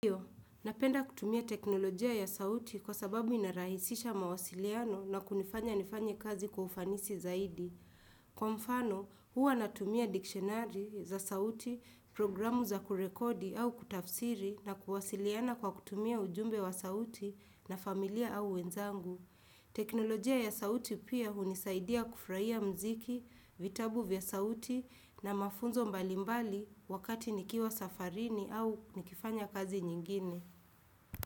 Iyo, napenda kutumia teknolojia ya sauti kwa sababu inarahisisha mawasiliano na kunifanya nifanye kazi kufanisi zaidi. Kwa mfano, huwa natumia dikshenari za sauti, programu za kurekodi au kutafsiri na kuwasiliana kwa kutumia ujumbe wa sauti na familia au wenzangu. Teknolojia ya sauti pia unisaidia kufurahia mziki, vitabu vya sauti na mafunzo mbalimbali wakati nikiwa safarini au nikifanya kazi nyingine.